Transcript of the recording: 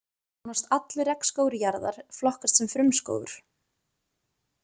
Nánast allur regnskógur jarðar flokkast sem frumskógur.